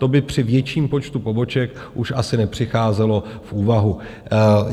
To by při větším počtu poboček už asi nepřicházelo v úvahu.